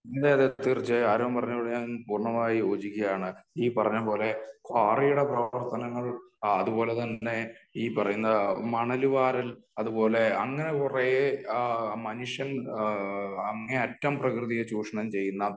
അതേ അതേ തീർച്ചയായും . ആരോൺ പറഞ്ഞതിനോട് ഞാൻ പൂർണമായും യോജിക്കുകയാണ് . ഈ പറഞ്ഞ പോലെ ക്വാറിയുടെ പ്രവർത്തനങ്ങൾ അത്പോലെ തന്നെ ഈ പറയുന്ന മണല് വാരൽ അത് പോലെ അങ്ങനെ കുറെ ആ ഈ മനുഷ്യൻ അങ്ങേയറ്റം പ്രകൃതിയെ ചൂഷണം ചെയ്യുന്ന